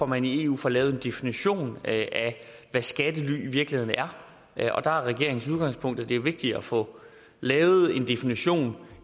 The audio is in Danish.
man i eu får lavet en definition af hvad skattely i virkeligheden er og der er regeringens udgangspunkt at det er vigtigere at få lavet en definition